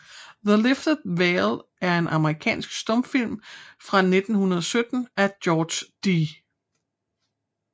The Lifted Veil er en amerikansk stumfilm fra 1917 af George D